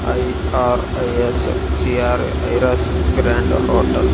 I ఆర్ అ యస్ చియార్ ఇరాస్ గ్రాండ్ హోటల్ .